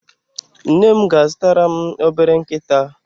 Nne m ga-azụtara m obere nkịta.